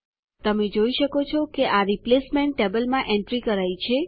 તમે જોઈ શકો છો કે આ રિપ્લેસમેન્ટ ટેબલ બદલાવ કોષ્ટકમાં એન્ટ્રી કરાઈ છે